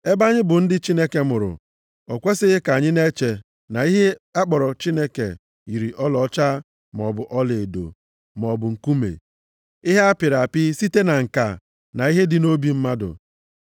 “Ebe anyị bụ ndị Chineke mụrụ, o kwesighị ka anyị na-eche na ihe akpọrọ Chineke yiri ọlaọcha maọbụ ọlaedo, maọbụ nkume, ihe apịrị apị site na ǹka na ihe dị nʼobi mmadụ.